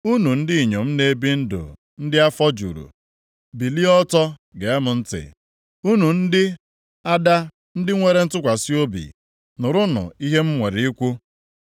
Unu ndị inyom na-ebi ndụ ndị afọ juru, bilie ọtọ, gee m ntị; unu ndị ada ndị nwere ntụkwasị obi, nụrụnụ ihe m nwere ikwu.